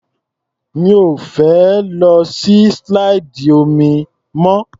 Mi ò fẹ́ lọ sí slide omi mọ́.